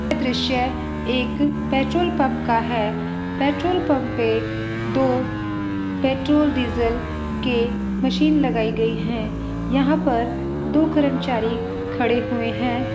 ये दृश्य एक पेट्रोलपम्प का है पेट्रोलपम्प पे दो पेट्रोल डीजल के मशीन लगाई गई हैं यहाँ पर दो कर्मचारी खड़े हुए हैं।